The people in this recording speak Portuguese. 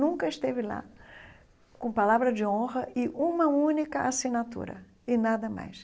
Nunca esteve lá com palavra de honra e uma única assinatura e nada mais.